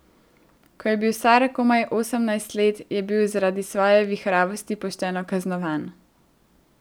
Ko je bil star komaj osemnajst let je bil zaradi svoje vihravosti pošteno kaznovan.